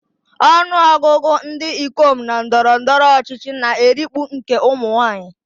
Ọnụ ọgụgụ ndị ikom na ndọrọ ndọrọ ọchịchị na-erikpu nke ụmụ nwaanyị.